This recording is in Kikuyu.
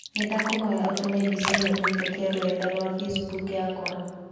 Nĩndakũhoya ũtũme mbica inokũhītũkīra rũrenda rũa facebook yakwa.